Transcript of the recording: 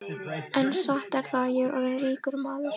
En satt er það, ég er orðinn ríkur maður.